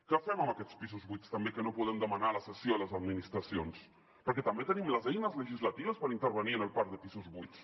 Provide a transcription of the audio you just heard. què fem amb aquests pisos buits també que no en podem demanar la cessió a les administracions perquè també tenim les eines legislatives per intervenir en el parc de pisos buits